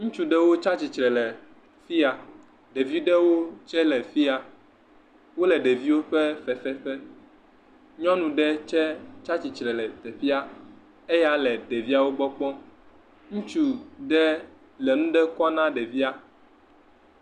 Ŋutsu ɖewo tsatsi tre le fi ya. Ɖevi ɖewo tsɛ le fi ya. Wole ɖeviwo ƒe fefe ƒe. Nyɔnu ɖe tsɛ tsa tsi tre le teƒea. Eya le ɖeviawo gbɔ kpɔm. Ŋutsu ɖe le nuɖe kɔm na ɖevia.